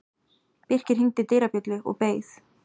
Birkir hringdi dyrabjöllu og beið.